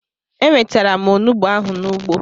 Enwetara m Onugbo ahụ n'ugbo